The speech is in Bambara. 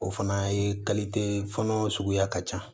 O fana ye fɔnɔ suguya ka ca